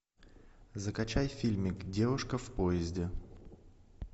закачай фильмик девушка в поезде